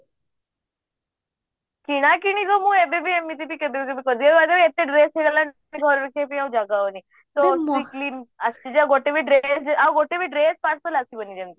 କିଣାକିଣି କୁ ବି ମୁଁ ଏବେ ବି ଏମିତି କେବେ କେବେବି କରିଦିଏ ଏତେ dress ହେଇଗଲାଣି ସେତକ ଘରେ ରଖିବା ପାଇଁ ଆଉ ଜାଗା ହଉନି weekly ଆସିଯାଏ ଗୋଟେ ବି ଆଉ ଗୋଟେ ବି dress parcel ଆସିବାନି ଯେମିତି